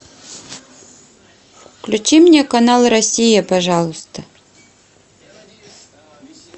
включи мне канал россия пожалуйста